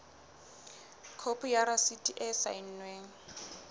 khopi ya rasiti e saennweng